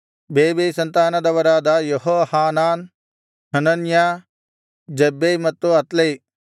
ಬೇಬೈ ಸಂತಾನದವರಾದ Jehohanan Hananiah Zabbai ಮತ್ತು Athlai